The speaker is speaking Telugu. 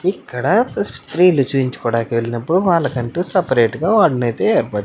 ఇక్కడ స్త్రీలు చూయించాకడానికి వెళ్ళినప్పుడు వాళ్ళకంటూ సెపరేట్ వార్డు నైతే ఏర్పటు --